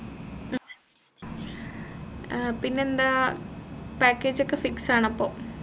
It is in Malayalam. ഏർ പിന്നെന്താ package ഒക്കെ fix ആണപ്പോ